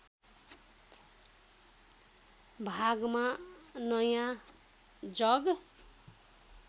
भागमा नयाँ जग